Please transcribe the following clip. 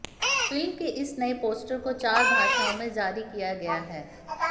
film के इस नए पोस्टर को चार भाषाओं में जारी किया गया हैं